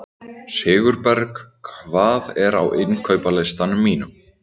Sigurberg, hvað er á innkaupalistanum mínum?